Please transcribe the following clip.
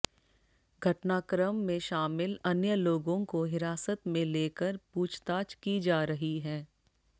घटना क्रम में शामिल अन्य लोगों को हिरासत में लेकर पूछताछ की जा रही हैं